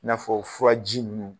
I n'a fɔɔ furaji ninnu